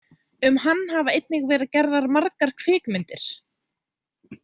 Um hann hafa einnig verið gerðar margar kvikmyndir.